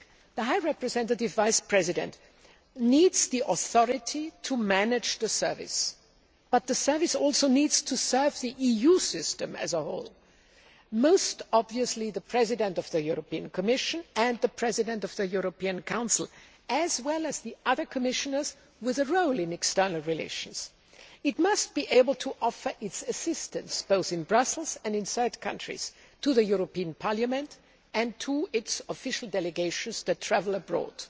The High Representative Vice President needs the authority to manage the service, but the service also needs to serve the EU system as a whole most obviously, the President of the European Commission and the President of the European Council, as well as the other Commissioners with a role in external relations. It must be able to offer its assistance, both in Brussels and in third countries, to the European Parliament and to its official delegations which travel abroad.